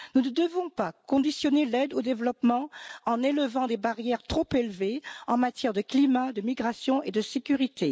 Nous ne devons pas conditionner l'aide au développement en érigeant des barrières trop élevées en matière de climat, de migration et de sécurité.